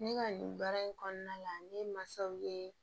Ne ka nin baara in kɔnɔna la ne masaw ye